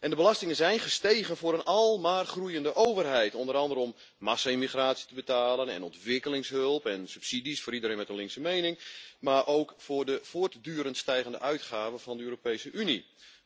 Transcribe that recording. De belastingen zijn gestegen voor een almaar groeiende overheid, onder andere om massa-immigratie te betalen en ontwikkelingshulp en subsidies voor iedereen met een linkse mening, maar ook voor de voortdurend stijgende uitgaven van de Europese Unie.